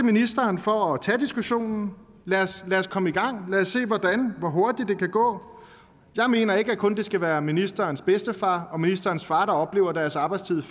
ministeren for at tage diskussionen lad os lad os komme i gang lad os se hvordan og hvor hurtigt det kan gå jeg mener ikke at det kun skal være ministerens bedstefar og ministerens far der oplever at deres arbejdstid